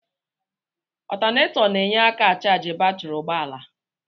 Ọtanetọ na-enye aka achaji batri ụgbọala.